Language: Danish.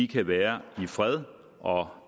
kan være i fred og